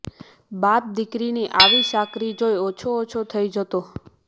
બાપ દીકરીની આવી ચાકરી જોઈ ઓછો ઓછો થઈ જતો